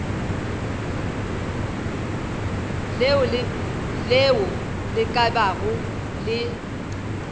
leo le ka bago le